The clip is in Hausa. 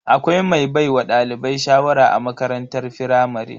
Akwai mai baiwa dalibai shawara a makarantar firamare.